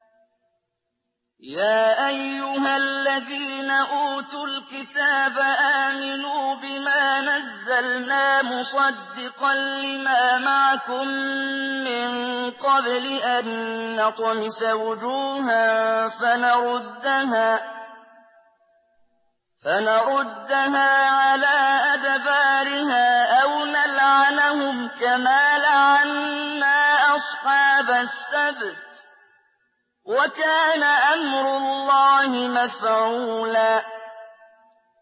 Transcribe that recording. يَا أَيُّهَا الَّذِينَ أُوتُوا الْكِتَابَ آمِنُوا بِمَا نَزَّلْنَا مُصَدِّقًا لِّمَا مَعَكُم مِّن قَبْلِ أَن نَّطْمِسَ وُجُوهًا فَنَرُدَّهَا عَلَىٰ أَدْبَارِهَا أَوْ نَلْعَنَهُمْ كَمَا لَعَنَّا أَصْحَابَ السَّبْتِ ۚ وَكَانَ أَمْرُ اللَّهِ مَفْعُولًا